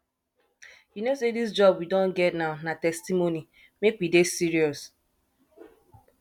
you no say dis job we do get now na testimony make we dey serious